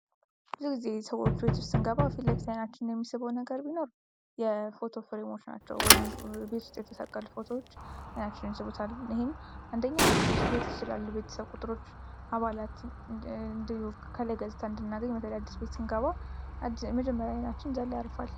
ብዙ ጊዜ ሰዎች ቤት ውስጥ ስንገባ ፊት ለፊት አይናችንን የሚስበው ነገር ቢኖር የፎቶ ፍሬሞች ናቸው። ወይም ቤት ውስጥ የተሰቀሉ ፎቶዎች አይናችንን ይስቡታል። ይህም አንደኛ ቤት ውስጥ ስላሉ የቤተሰብ ቁጥሮች አባላትን ከላይ ገጽታ እንድናገኝ በተለይ አዲስ ቤት ስንገባ መጀመርያ ዓይናችን እዛ ላይ ያርፋል።